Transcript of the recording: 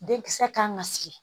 Denkisɛ kan ka sigi